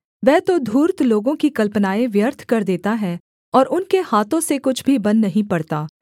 वह तो धूर्त लोगों की कल्पनाएँ व्यर्थ कर देता है और उनके हाथों से कुछ भी बन नहीं पड़ता